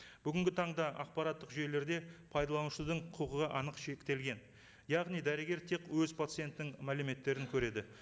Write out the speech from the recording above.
бүгінгі таңда ақпараттық жүйелерде пайдаланушының құқығы анық шектелген яғни дәрігер тек өз пациентінің мәліметтерін көреді